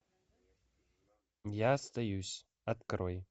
я остаюсь открой